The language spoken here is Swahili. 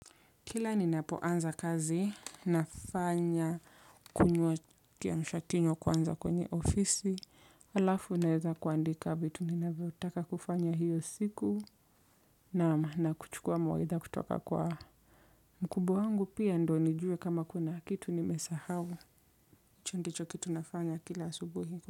Kila ninapoanza kazi, nafanya kunywa kiamshakinywa kwanza kwenye ofisi, alafu naeza kuandika vitu, ninavyotaka kufanya hiyo siku nakuchukua mawaidha kutoka kwa mkubwa wangu pia ndio nijue kama kuna kitu nimesahau hicho ndicho kitu nafanya kila asubuhi.